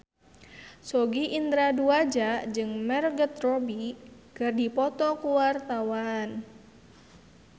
Sogi Indra Duaja jeung Margot Robbie keur dipoto ku wartawan